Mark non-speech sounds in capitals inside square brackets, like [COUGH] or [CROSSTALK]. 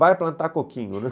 Vai plantar coquinho, né? [LAUGHS]